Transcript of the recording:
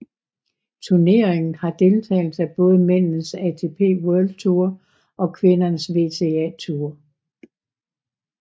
Turneringen har deltagelse af både mændenes ATP World Tour og kvindernes WTA Tour